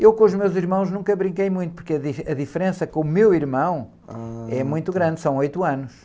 Eu com os meus irmãos nunca brinquei muito, porque a di, a diferença com o meu irmão...h... muito grande, são oito anos.